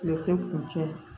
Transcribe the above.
Berese kuncɛ